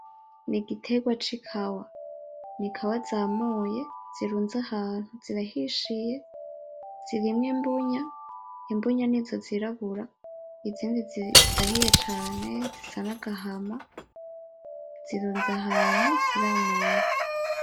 Ni igitegwa c'ikawa n'ikawa zamuye zirunze ahantu zirahishiye zirimwo imbunya, imbunya nizo zirabura izindi zirahiye cane zisa n'agahama zirunze ahantu ziramuye.